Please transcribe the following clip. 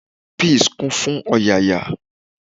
Peace kún fún ọ̀yàyà.